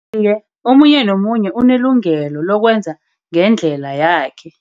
Iye, omunye nomunye unelungelo lokwenza ngendlela yakhe.